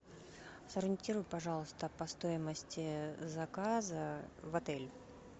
сориентируй пожалуйста по стоимости заказа в отель